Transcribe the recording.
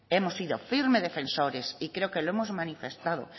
hemos sido firmes defensores y creo que lo hemos manifestado